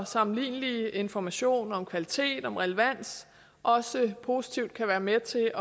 sammenlignelig information om kvalitet og relevans også positivt kan være med til